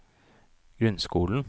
grunnskolen